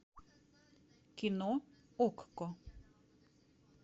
кино окко